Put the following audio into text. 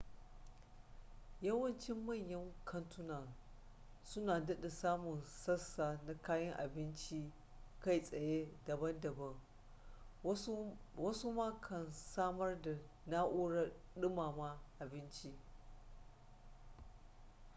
yawancin manyan kantuna su na dada samun sassa na kayan abincin ci kai tsaye daban daban wasu ma kan samar da na'urar dumama abinci